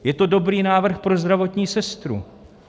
Je to dobrý návrh pro zdravotní sestru.